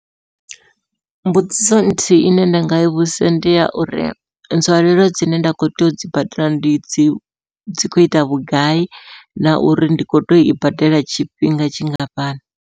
Mbudziso nthihi ine nda nga vhudzisa ndi ya uri nzwalelo dzine nda kho tea u dzi badela ndi dzi dzi kho ita vhugai, na uri ndi kho toi badela tshifhinga tshingafhani.